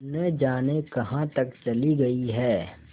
न जाने कहाँ तक चली गई हैं